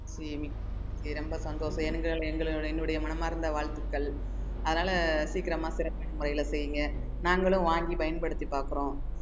இனி ரொம்ப சந்தோஷம் என்னுடைய மனமார்ந்த வாழ்த்துக்கள் அதனால சீக்கிரமா சிறப்பான முறையில செய்யுங்க நாங்களும் வாங்கி பயன்படுத்தி பாக்குறோம்